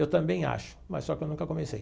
Eu também acho, mas só que eu nunca comecei.